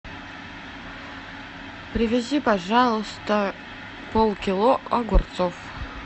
привези пожалуйста полкило огурцов